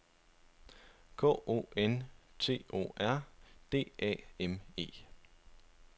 K O N T O R D A M E